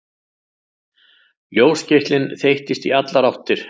Ljósgeislinn þeyttist í allar áttir.